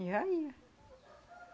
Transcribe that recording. E já ia.